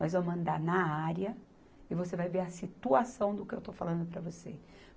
Nós vamos andar na área e você vai ver a situação do que eu estou falando para você.